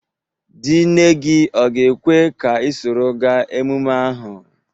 Di nne gị ọ ga-ekwe ka ị soro ga emume ahụ?